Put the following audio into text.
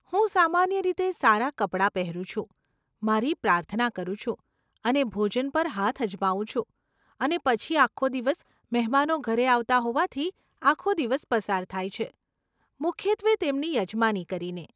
હું સામાન્ય રીતે સારા કપડાં પહેરું છું, મારી પ્રાર્થના કરું છું અને ભોજન પર હાથ અજમાવું છું, અને પછી આખો દિવસ મહેમાનો ઘરે આવતા હોવાથી, આખો દિવસ પસાર થાય છે, મુખ્યત્વે તેમની યજમાની કરીને.